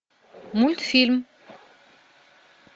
мультфильм